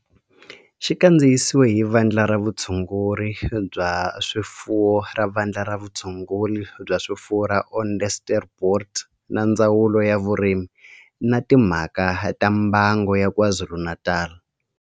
Xi kandziyisiwe hi Vandla ra Vutshunguri bya swifuwo ra Vandla ra Vutshunguri bya swifuwo ra Onderstepoort na Ndzawulo ya Vurimi na Timhaka ta Mbango ya KwaZulu-Natal.